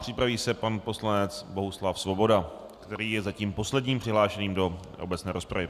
Připraví se pan poslanec Bohuslav Svoboda, který je zatím posledním přihlášeným do obecné rozpravy.